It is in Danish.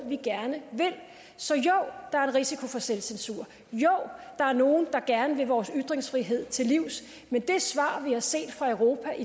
vi gerne vil så jo der er en risiko for selvcensur jo der er nogle der gerne vil vores ytringsfrihed til livs men det svar vi har set fra europas